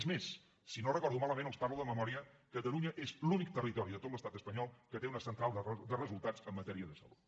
és més si no ho recordo malament els parlo de memòria catalunya és l’únic territori de tot l’estat espanyol que té una central de resultats en matèria de salut